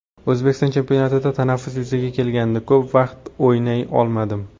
O‘zbekiston chempionatida tanaffus yuzaga kelgandi, ko‘p vaqtda o‘ynay olmadim.